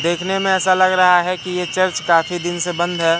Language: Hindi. देखने में ऐसा लग रहा है कि ये चर्च काफी दिन से बंद हैं।